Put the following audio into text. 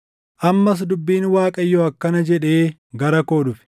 Ammas dubbiin Waaqayyoo akkana jedhee gara koo dhufe: